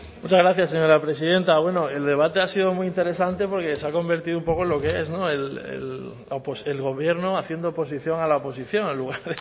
muchas gracias señora presidenta bueno el debate ha sido muy interesante porque se ha convertido un poco en lo que es el gobierno haciendo oposición a la oposición en lugar